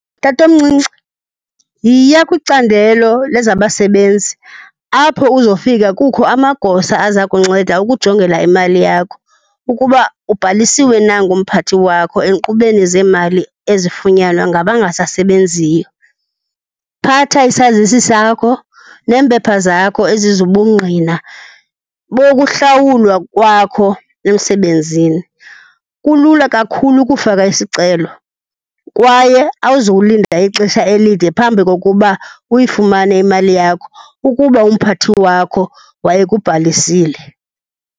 Tatomncinci, yiya kwicandelo lezabasebenzi apho uzofika kukho amagosa aza kunceda ukujongela imali yakho ukuba ubhalisiwe na ngumphathi wakho enkqubeni zeemali ezifunyanwa ngabangasasebenziyo. Phatha isazisi sakho neempepha zakho ezizobungqina bokuhlawulwa kwakho emsebenzini. Kulula kakhulu ukufaka isicelo kwaye awuzowulinda ixesha elide phambi kokuba uyifumane imali yakho ukuba umphathi wakho wayekubhalisile.